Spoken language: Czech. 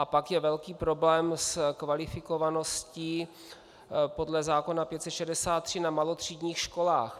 A pak je velký problém s kvalifikovaností podle zákona 563 na malotřídních školách.